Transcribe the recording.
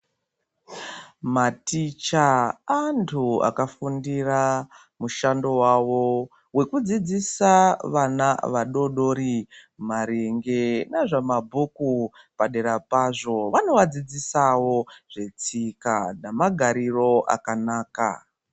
Maticha antu akafundira mushando wavo wekudzidzisa vana vadoodori maringe nezvamabhuku. Padera pazvo vanovadzidzisawo zvetsika namagariro akanaka.